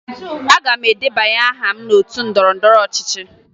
Aga m edebanye aha m n'otu ndọrọndọrọ ọchịchị